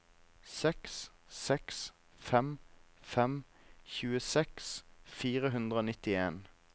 seks seks fem fem tjueseks fire hundre og nittien